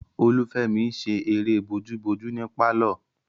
Olufemi n ṣe eré bojúbojú ní pálọ̀